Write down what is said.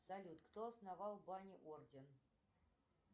салют кто основал ване орден